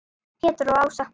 Pétur og Ása.